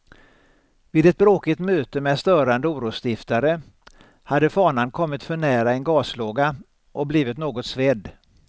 Vid ett bråkigt möte med störande orosstiftare hade fanan kommit för nära en gaslåga och blivit något svedd.